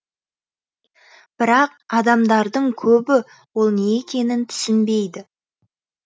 бірақ адамдардың көбі ол не екенін түсінбейді